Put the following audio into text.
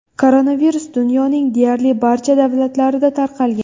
Koronavirus dunyoning deyarli barcha davlatlarida tarqalgan.